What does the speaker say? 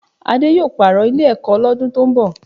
Adé yóò pààrọ̀ Ilé-ẹ̀kọ́ lọ́dún tó ń bọ̀